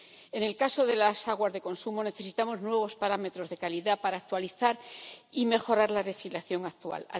En el caso de las aguas de consumo, necesitamos nuevos parámetros de calidad para actualizar y mejorar la legislación actual